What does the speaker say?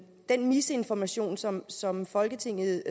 den misinformation som som folketinget